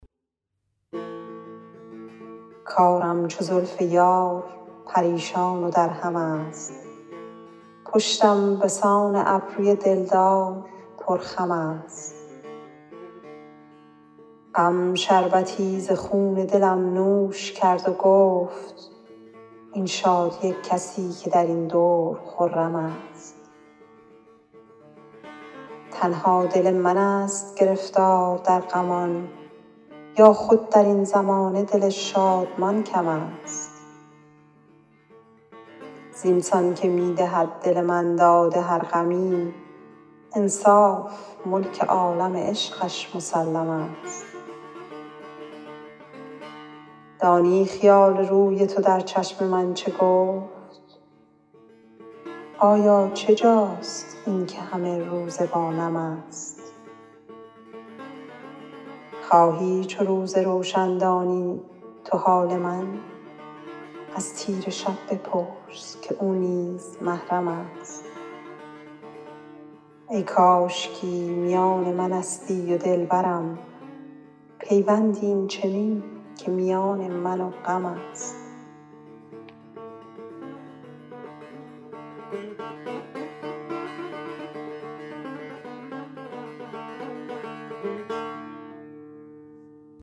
کارم چو زلف یار پریشان و درهم است پشتم به سان ابروی دل دار پرخم است غم شربتی ز خون دلم نوش کرد و گفت این شادی کسی که در این دور خرم است تنها دل من ست گرفتار در غمان یا خود در این زمانه دل شادمان کم است زین سان که می دهد دل من داد هر غمی انصاف ملک عالم عشقش مسلم است دانی خیال روی تو در چشم من چه گفت آیا چه جاست این که همه روزه با نم است خواهی چو روز روشن دانی تو حال من از تیره شب بپرس که او نیز محرم است ای کاشکی میان من استی و دل برم پیوندی این چنین که میان من و غم است